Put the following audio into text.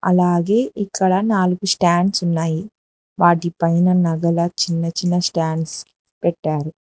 అలాగే ఇక్కడ నాలుగు స్టాండ్స్ ఉన్నాయి వాటిపైన నగల చిన్న చిన్న స్టాండ్స్ పెట్టారు.